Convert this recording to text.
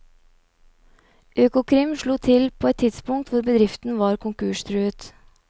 Økokrim slo til på et tidspunkt hvor bedriften var konkurstruet.